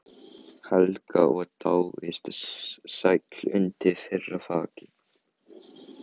Helga og dáið sæll undir þeirra þaki.